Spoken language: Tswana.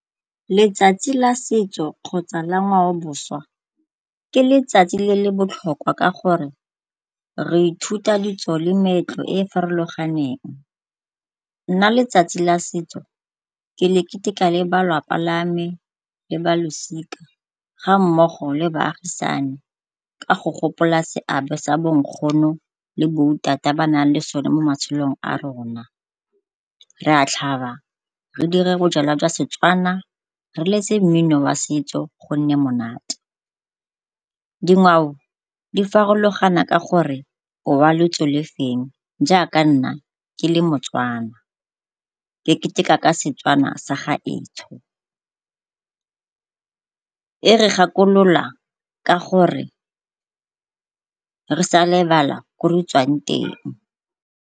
Letsatsi la setso kgotsa la ngwao boswa ke letsatsi le le botlhokwa ka gore re ithuta ditso le meetlo e e farologaneng. Nna letsatsi la setso ke le keteka le ba lelapa lame le balosika ga mmogo le baagisane ka go gopola seabe se bonkgono le bo ba na leng sone mo matshelong a rona. Re a tlhaba, re dire bojalwa jwa Setswana, re letse mmino wa setso gonne monate. Dingwao di farologana ka gore o wa lotso lefeng, jaaka nna ke le moTswana ke keteka ka Setswana sa gaetsho. E re gakolola ka gore re sa lebala ko re tswang teng.